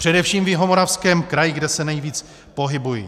Především v Jihomoravském kraji, kde se nejvíc pohybuji.